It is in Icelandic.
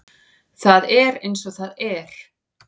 Það er eins og það er